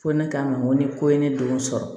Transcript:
Ko ne kama ko ni ko ye ne denw sɔrɔ